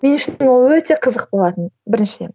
мен үшін ол өте қызық болатын біріншіден